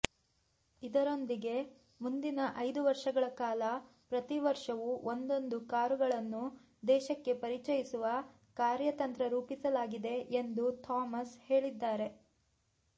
ಇದರೊಂದಿಗೆ ಮುಂದಿನ ಐದು ವರ್ಷಗಳ ಕಾಲ ಪ್ರತಿವರ್ಷವೂ ಒಂದೊಂದು ಕಾರುಗಳನ್ನು ದೇಶಕ್ಕೆ ಪರಿಚಯಿಸುವ ಕಾರ್ಯತಂತ್ರ ರೂಪಿಸಲಾಗಿದೆ ಎಂದು ಥೋಮಸ್ ಹೇಳಿದ್ದಾರೆ